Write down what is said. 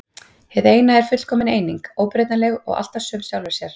Hið eina er fullkomin eining, óbreytanleg og alltaf söm sjálfri sér.